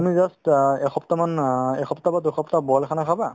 তুমি just অ একসপ্তাহমান অ একসপ্তাহ বা দুইসপ্তাহ boil khana খাবা